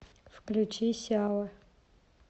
включи сява